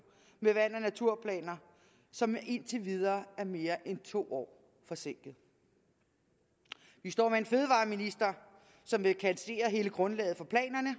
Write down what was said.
med vand og naturplaner som indtil videre er mere end to år forsinkede vi står med en fødevareminister som vil kassere hele grundlaget for planerne